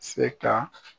Se ka